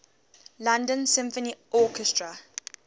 london symphony orchestra